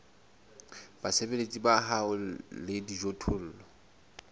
basebeletsi ba hao le dijothollo